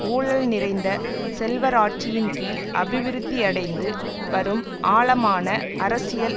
ஊழல் நிறைந்த செல்வராட்சியின் கீழ் அபிவிருத்தியடைந்து வரும் ஆழமான அரசியல்